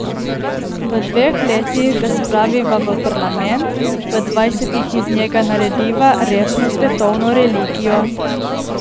V dveh letih ga spraviva v parlament, v dvajsetih iz njega narediva resno svetovno religijo!